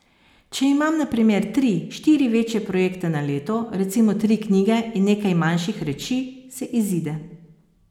Če imam na primer tri, štiri večje projekte na leto, recimo tri knjige in nekaj manjših reči, se izide.